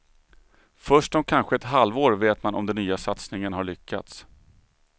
Först om kanske ett halvår vet man om den nya satsningen har lyckats.